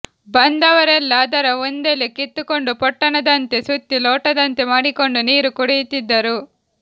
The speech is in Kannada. ಬಂದವರೆಲ್ಲಾ ಅದರ ಒಂದೆಲೆ ಕಿತ್ತುಕೊಂಡು ಪೊಟ್ಟಣದಂತೆ ಸುತ್ತಿ ಲೋಟದಂತೆ ಮಾಡಿಕೊಂಡು ನೀರು ಕುಡಿಯುತ್ತಿದ್ದರು